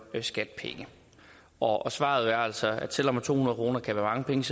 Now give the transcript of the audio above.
skat penge og svaret er altså at selv om to hundrede kroner kan være mange penge